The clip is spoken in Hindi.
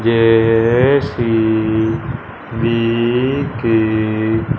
जे_सी_बी के --